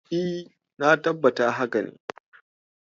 E, na tabbatar da haka.